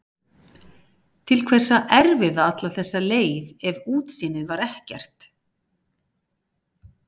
Til hvers að erfiða alla þessa leið ef útsýnið var ekkert?